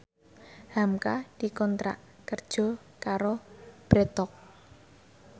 hamka dikontrak kerja karo Bread Talk